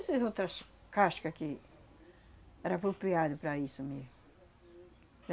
Essas outras casca que era apropriado para isso mesmo.